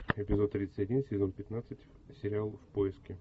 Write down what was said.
эпизод тридцать один сезон пятнадцать сериал в поиске